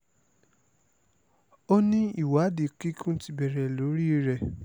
o ní ìwádìí kíkún ti bẹ̀rẹ̀ lórí ẹ